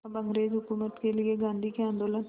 अब अंग्रेज़ हुकूमत के लिए गांधी के आंदोलन